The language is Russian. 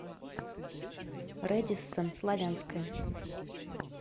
рэдиссон славянская